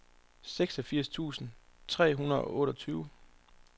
seksogfirs tusind tre hundrede og otteogtyve